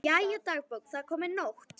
Jæja, dagbók, það er komin nótt.